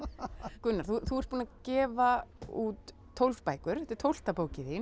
Gunnar þú ert búinn að gefa út tólf bækur þetta er tólfta bókin þín